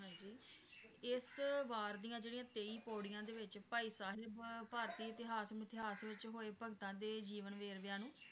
ਹਾਂਜੀ ਇਸ ਵਾਰ ਦੀਆਂ ਜਿਹੜੀਆਂ ਤੇਈ ਪੌੜੀਆਂ ਦੇ ਵਿਚ ਭਾਈ ਸਾਹਿਬ ਭਾਰਤੀ ਇਤਿਹਾਸ ਮਿਥਿਹਾਸ ਵਿਚ ਹੋਏ ਭਗਤਾਂ ਦੇ ਜੀਵਨ ਵੇਰਵਿਆਂ ਨੂੰ